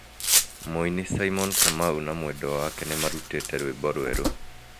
Mũini Simon Kamau na mwendwa wake nĩmarutĩte rwimbo rweru